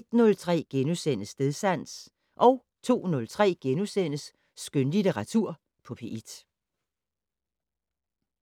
01:03: Stedsans * 02:03: Skønlitteratur på P1 *